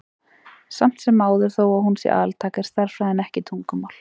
Samt sem áður, þó að hún sé altæk, er stærðfræðin ekki tungumál.